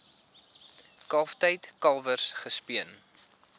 kalftyd kalwers gespeen